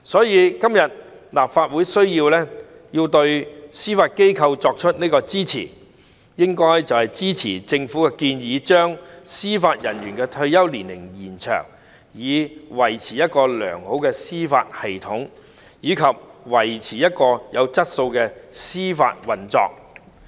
因此，立法會今天必須對司法機構給予支持，支持政府的建議，延長司法人員的退休年齡，以維持一個良好的司法制度及維持有質素的司法運作。